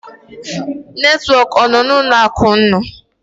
Netwọk ọ nọ n'ụlọ akụ ụnụ?